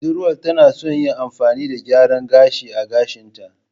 Budurwar tana son yin amfani da gyaran gashi a gashinta.